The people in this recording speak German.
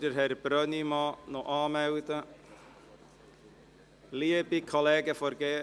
– Liebe Kollegen von der glp, könnte jemand Herrn Brönnimann anmelden?